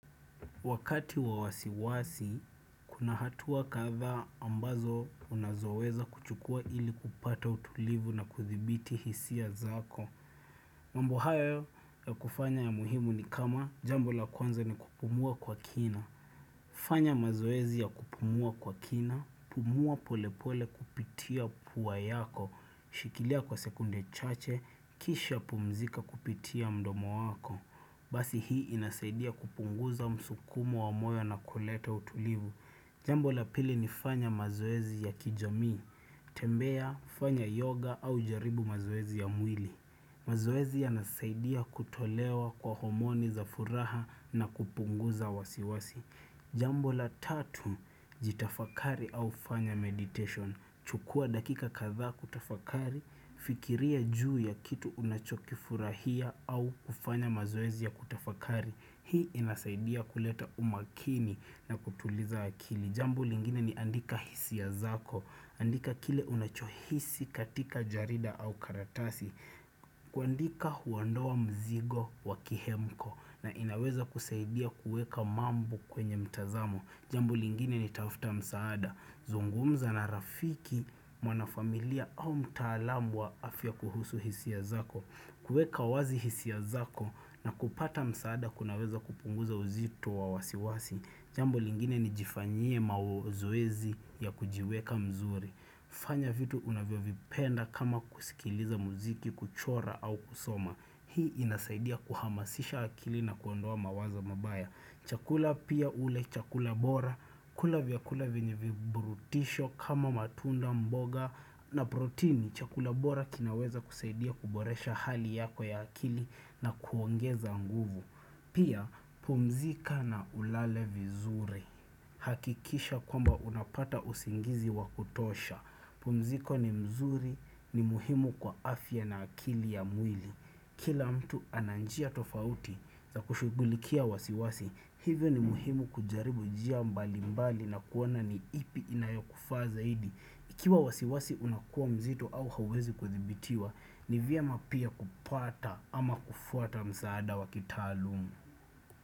Wakati wa wasiwasi, kuna hatua kadhaa ambazo unazoweza kuchukua ili kupata utulivu na kuthibiti hisia zako. Mamb hayo ya kufanya ya muhimu ni kama jambo la kwanza ni kupumua kwa kina. Fanya mazoezi ya kupumua kwa kina, pumua pole pole kupitia pua yako, shikilia kwa sekunde chache, kisha pumzika kupitia mdomo wako. Basi hii inasaidia kupunguza msukumo wa moyo na kuleta utulivu. Jambo la pili ni fanya mazoezi ya kijamii. Tembea, fanya yoga au jaribu mazoezi ya mwili. Mazoezi ya nasaidia kutolewa kwa homoni za furaha na kupunguza wasiwasi. Jambo la tatu, jitafakari au fanya meditation. Chukua dakika kadhaa kutafakari, fikiria juu ya kitu unachokifurahia au kufanya mazoezi ya kutafakari Hii inasaidia kuleta umakini na kutuliza akili Jambo lingine ni andika hisia zako, andika kile unachohisi katika jarida au karatasi kuandika huandoa mzigo wakihemko na inaweza kusaidia kuweka mambo kwenye mtazamo Jambo lingine ni tafuta msaada. Zungumza na rafiki, mwana familia au mtaalamu wa afya kuhusu hisia zako. Kueka wazi hisia zako na kupata msaada kunaweza kupunguza uzito wa wasiwasi. Jambo lingine ni jifanyie mazoezi ya kujiweka mzuri. Fanya vitu unavyo vipenda kama kusikiliza muziki kuchora au kusoma Hii inasaidia kuhamasisha akili na kuondoa mawazo mabaya Chakula pia ule chakula bora kula vyakula vinye virutubitusho kama matunda mboga na protini Chakula bora kinaweza kusaidia kuboresha hali yako ya akili na kuongeza nguvu Pia pumzika na ulale vizuri hakikisha kwamba unapata usingizi wakutosha pumziko ni mzuri ni muhimu kwa afya na akili ya mwili Kila mtu ananjia tofauti za kushugulikia wasiwasi Hivyo ni muhimu kujaribu njia mbali mbali na kuwona ni ipi inayokufa zaidi ikiwa wasiwasi unakuwa mzito au hawezi kuthibitiwa Nivyema pia kupata ama kufuata msaada wakitalumu.